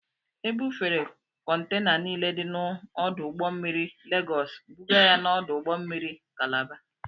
Ebufere kọntena niile dị n'ọdụ ụgbọ mmiri Legọọs bụga ya n'ọdụ ụgbọ mmiri kalaba.